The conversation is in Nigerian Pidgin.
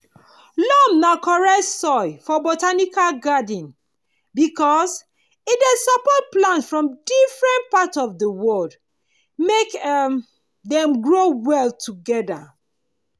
loam na correct soil for botanical garden because e dey support plant from different part of the world make um dem grow well together.